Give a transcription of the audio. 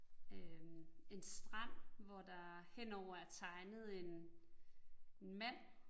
Øh en strand, hvor der henover er tegnet en mand